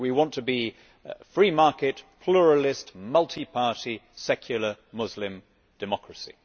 We want to be a free market, pluralist, multiparty, secular Muslim democracy.'